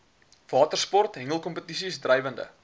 watersport hengelkompetisies drywende